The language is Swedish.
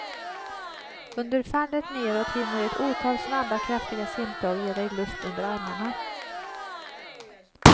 Under fallet neråt hinner ett otal snabba, kraftiga simtag ge dig luft under armarna.